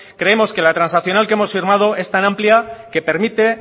creemos que en la transaccional que hemos firmado es tan amplia que permite